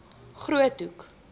groothoek